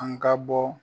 An ka bɔ